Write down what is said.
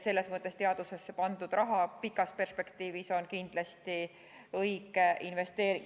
Selles mõttes on teadusesse pandud raha pikas perspektiivis kindlasti õige investeering.